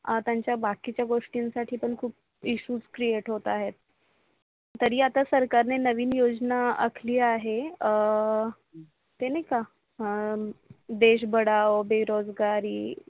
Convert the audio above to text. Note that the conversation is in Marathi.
आता त्यांच्या बाकीच्या गोष्टींसाठी पण खूप ISSUE CREATE होत आहेत. तरी आता सरकारने नवीन योजना आखली आहे आह ते नाही का देश बडाव बेरोजगारी.